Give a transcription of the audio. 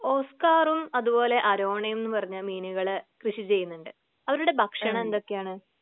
ഓസ്കാറും അതുപോലെ അരോണയുംന്ന് പറഞ്ഞ് മീനുകള് കൃഷി ചെയ്യുന്നുണ്ട് അവരുടെ ഭക്ഷണം എന്തൊക്കെയാണ്?